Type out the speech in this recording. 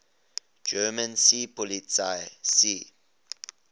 german seepolizei sea